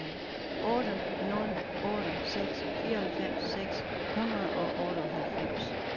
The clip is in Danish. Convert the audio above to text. otte nul otte seks fireoghalvfems seks hundrede og otteoghalvfems